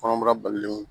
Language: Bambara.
Kɔnɔbara balilenw